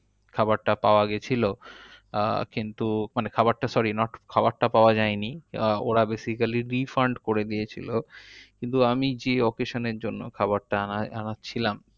খাবারটা পাওয়া গেছিলো। আহ কিন্তু মানে খাবারটা sorry খাবারটা পাওয়া যায়নি। ওরা basically refund করে দিয়েছিলো। কিন্তু আমি যে occasion এর জন্য যে খাবারতা আনা~ আনাচ্ছিলাম